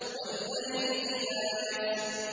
وَاللَّيْلِ إِذَا يَسْرِ